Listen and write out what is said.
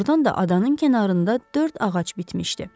Doğrudan da adanın kənarında dörd ağac bitmişdi.